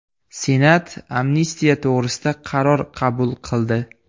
Senat amnistiya to‘g‘risida qaror qabul qildi.